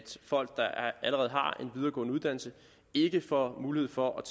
folk der allerede har en videregående uddannelse ikke får mulighed for at